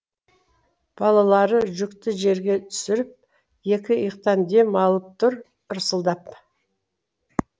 балаларды жүкті жерге түсіріп екі иықтан дем алып тұр ырсылдап